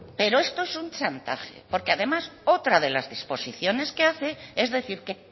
pero esto es un chantaje porque además otra de las disposiciones que hace es decir que